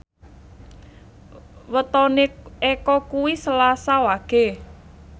wetone Eko kuwi Selasa Wage